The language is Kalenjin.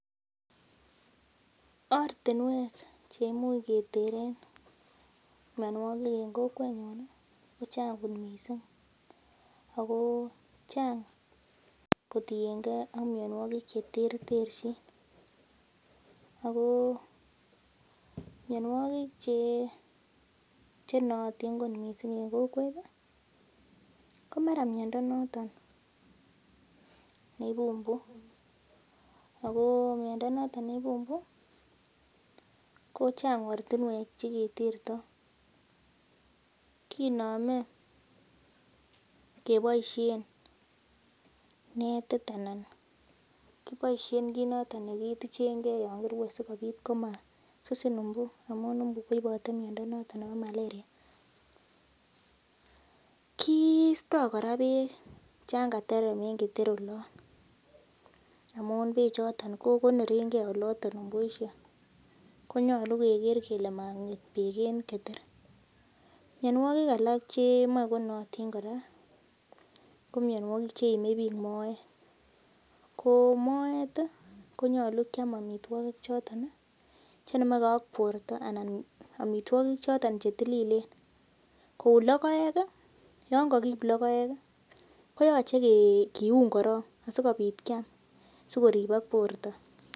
Ortinwek cheimuch keteren mionwogik en kokwetnyun ih kochang kot missing ako chang kotiengee ak mionwogik cheterterchin ako mionwogik chenootin kot missing en kokwet ih ko mara miondo noton neibu mbu ako miondo noton neibu mbu ko chang ortinwek cheketerto, kinome keboisien netit anan kiboisien kit noton nekituchen gee yon kirue sikobit komasusin mbu amun mbu koibote miondo noton nebo malaria Kisto kora beek chan katerem en keter olon amun beek choton ko konorengee mbuisiek konyolu keker kele mong'et beek en keter. Mionwogik alak chemoe konootin kora ko mionwogik cheime biik moet ko moet konyolu kiam amitwogik choton chenomegee ak borto anan amitwogik choton chetililen kou logoek ih yon kokiip logoek ih koyoche kiun korong asikobit kiam sikoribok borto.